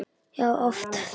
Já, oft.